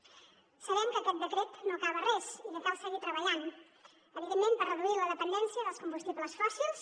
sabem que aquest decret no acaba res i que cal seguir treballant evidentment per reduir la dependència dels combustibles fòssils